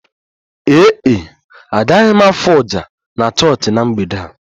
Ee e, agaghị m afụ oja na chọọchị na mgbede a